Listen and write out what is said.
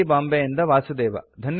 T ಬಾಂಬೆಯಿಂದ ವಾಸುದೇವ